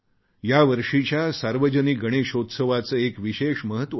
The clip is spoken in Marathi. यावर्षीच्या सार्वजनिक गणेशात्सवाचे एक विशेष महत्त्व आहे